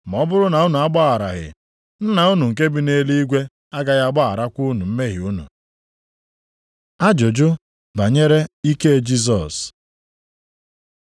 Ma ọ bụrụ na unu agbagharaghị, Nna unu nke bi nʼeluigwe agaghị agbagharakwa unu mmehie unu.” + 11:26 Ụfọdụ akwụkwọ na-edebanye okwu ndị a dịka ọ dị nʼakwụkwọ \+xt Mat 6:15\+xt*. Ajụjụ banyere ike Jisọs